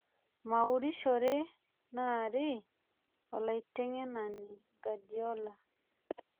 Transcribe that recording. meurishore naari olaiteng'enani gadiola